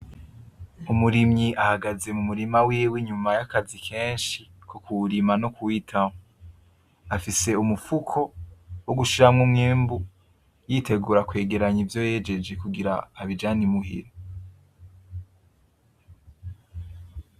Umurimyi ahagaze mu murima wiwe inyuma y'akazi kenshi ko kuwurima no kuwitaho. Afise umufuko wo gushiramwo umwimbu yitegura kwegeranya ivyo yejeje kugirango abijane i muhira.